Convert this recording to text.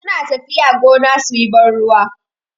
Sun tafiya gona suyi ban ruwa.